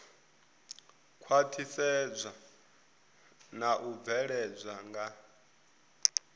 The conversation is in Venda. khwaṱhisedzwa na u bveledzwa nga